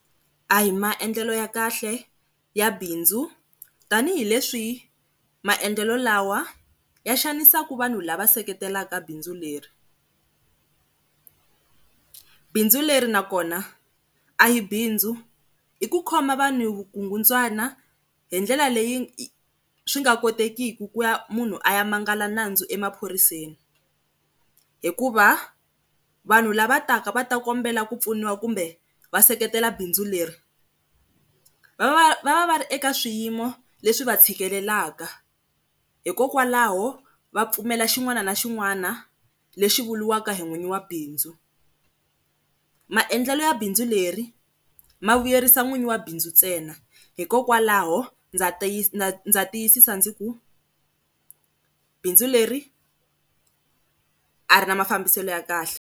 A hi maendlelo ya kahle ya bindzu tanihileswi maendlelo lawa ya xanisaka vanhu lava seketelaka bindzu leri. Bindzu leri nakona a hi bindzu i ku khoma vanhu vukungundwana hi ndlela leyi swi nga kotekiki ku va munhu a ya manguva lawa nandzu emaphoriseni, hikuva vanhu lava taka va ta kombela ku pfuniwa kumbe va seketela bindzu leri va va va ri eka swiyimo leswi va tshikelela hikokwalaho va pfumela xin'wana na xin'wana lexi vuriwaka hi n'wini wa bindzu. Maendlelo ya bindzu leri ma vuyerisa n'wini wa bindzu ntsena, hikokwalaho ndza tiyisisa ndzi ku bindzu leri a ri na mafambiselo ya kahle.